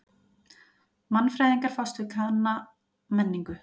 Mannfræðingar fást við kanna menningu.